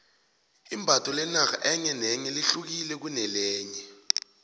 imbatho lenarha enye nenye lehukile kunelenye